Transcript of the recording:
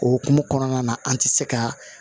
Okumu kɔnɔna na an tɛ se ka